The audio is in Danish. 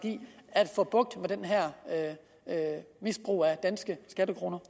at få bugt med det her misbrug af danske skattekroner